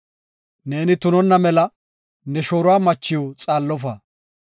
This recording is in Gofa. “Neeni tunonna mela ne shooruwa machiw xaallofa.